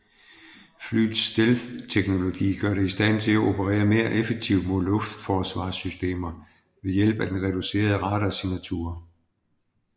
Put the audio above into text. Flyets stealth teknologi gør det i stand til at operere mere effektivt mod luftforsvarssystemer ved hjælp af den reducerede radarsignatur